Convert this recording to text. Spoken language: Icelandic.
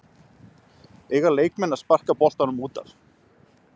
Eiga leikmenn að sparka boltanum útaf?